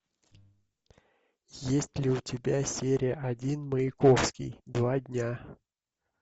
есть ли у тебя серия один маяковский два дня